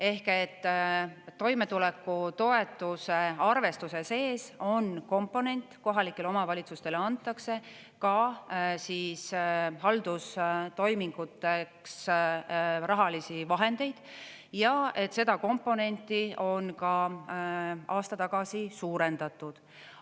Ehk et toimetulekutoetuse arvestuse sees on komponent, kohalikele omavalitsustele antakse ka haldustoiminguteks rahalisi vahendeid ja seda komponenti on ka aasta tagasi suurendatud.